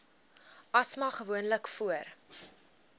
asma gewoonlik voor